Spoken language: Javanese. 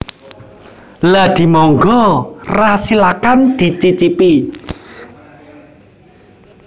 Lha dimonggo ra Silakan di cicipi